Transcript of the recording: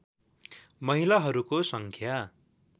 महिलाहरूको सङ्ख्या